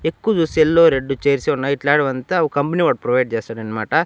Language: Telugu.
ఎక్కుదు సెల్లో రెడ్ చైర్స్ ఏ ఉన్నాయి ఇట్లాడివంత ఒక కంపెనీవాడు ప్రొవైడ్ చేస్తాడన్నమాట.